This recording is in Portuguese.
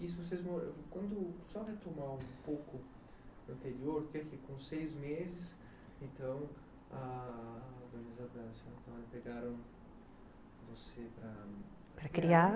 Isso, vocês moravam... Só retomar um pouco o anterior, porque com seis meses, então, a organização, então, pegaram você para... Para criar.